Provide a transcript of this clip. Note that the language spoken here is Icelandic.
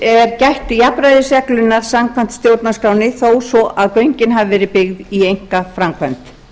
er gætt jafnræðisreglunnar samkvæmt stjórnarskránni þó svo að göngin hafi verið byggð í einkaframkvæmd